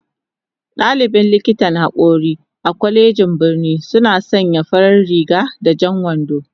Dalibin likitan hakori a kwalejin birnin suna sanya farar riga da jan wando